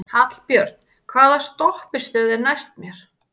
Hallbjörn, hvaða stoppistöð er næst mér?